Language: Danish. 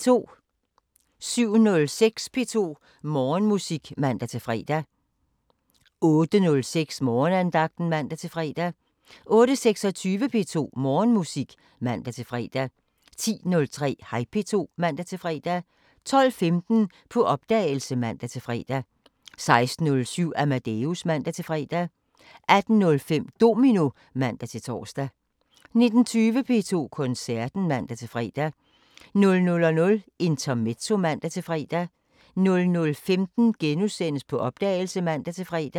07:06: P2 Morgenmusik (man-fre) 08:06: Morgenandagten (man-fre) 08:26: P2 Morgenmusik (man-fre) 10:03: Hej P2 (man-fre) 12:15: På opdagelse (man-fre) 16:07: Amadeus (man-fre) 18:05: Domino (man-tor) 19:20: P2 Koncerten (man-fre) 00:05: Intermezzo (man-fre) 00:15: På opdagelse *(man-fre)